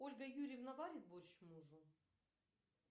ольга юрьевна варит борщ мужу